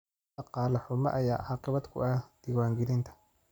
Dhaqaale xumo ayaa caqabad ku ah diiwaangelinta.